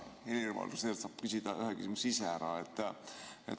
Helir-Valdor Seeder saab küsida ühe küsimuse ise ära.